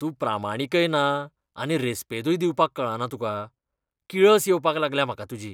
तूं प्रामाणीकय ना आनी रेस्पेदूय दिवपाक कळना तुका. किळस येवपाक लागल्या म्हाका तुजी.